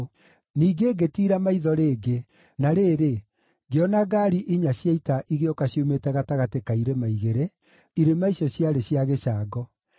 Ningĩ ngĩtiira maitho rĩngĩ, na rĩrĩ, ngĩona ngaari inya cia ita igĩũka ciumĩte gatagatĩ ka irĩma igĩrĩ, irĩma icio ciarĩ cia gĩcango!